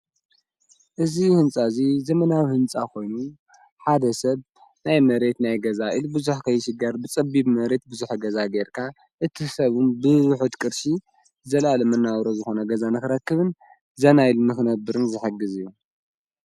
እዙ ሕንጻ እዙይ ዘመናዊ ሕንጻ ኾይኑ ሓደ ሰብ ናይ መሬት ናይ ገዛ ኢል ብዙኅ ከይሽጋር ብጸቢብ መሬት ብዙኅ ገዛ ጌይርካ እትሰቡን ብብኁ ት ቅርሺ ዘላለመናበሮ ዝኾነ ገዛ ነኽረክብን ዘናይ ኢል ምኽነብርን ዘሐግዝ እዩ።